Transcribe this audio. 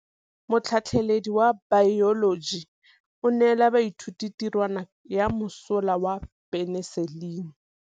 Motlhatlhaledi wa baeloji o neela baithuti tirwana ya mosola wa peniselene.